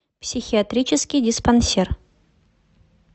психиатрический диспансер